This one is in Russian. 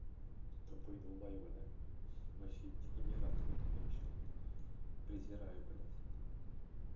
тупые долбаёбы да вообще дегенераты блять конченные презираю блять